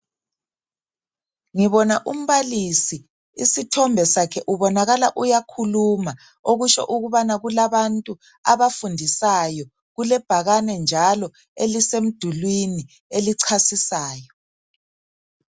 Ngibona umbalisi, isithombe sakhe ubonakala uyakhuluma okutsho ukubana kulabantu abafundisayo. Kulebhakane njalo elisemdulwini elichasisayo.